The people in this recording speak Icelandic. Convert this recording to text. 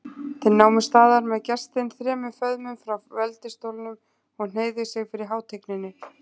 Þeir námu staðar með gestinn þremur föðmum frá veldisstólnum og hneigðu sig fyrir hátigninni.